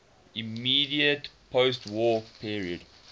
immediate postwar period